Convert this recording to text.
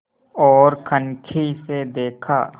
ओर कनखी से देखा